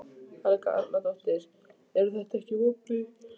Helga Arnardóttir: En eru þetta ekki vonbrigði?